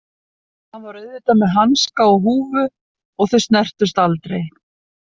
Hann var auðvitað með hanska og húfu og þau snertust aldrei.